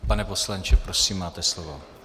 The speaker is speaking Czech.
Pane poslanče, prosím máte slovo.